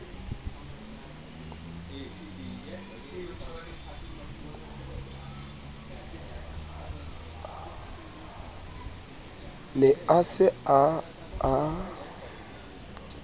ne a se a a